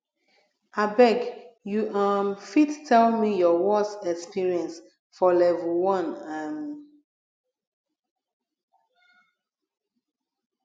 abeg you um fit tell me your worse experience for level 1 um